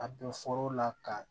A bɛ la ka